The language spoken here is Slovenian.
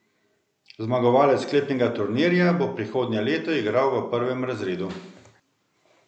Zmagovalec sklepnega turnirja bo prihodnje leto igral v prvem razredu.